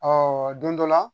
don dɔ la